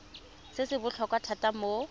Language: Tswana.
se se botlhokwa thata mo